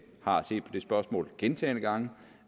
har set på det spørgsmål gentagne gange